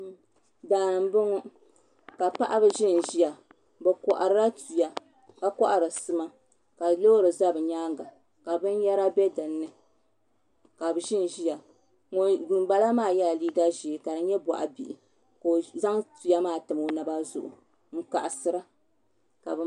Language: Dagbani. Daani n boŋo ka paɣaba ʒinʒiya bi koharila tuya ka kohari sima ka loori ʒɛ bi nyaanga ka binyɛra bɛ dinni ka bi ʒinʒiya ŋun bala maa yɛla liiga ʒiɛ ka di nyɛ baɣa bihi ka o zaŋ tuya maa tam o naba zuɣu n kaɣasira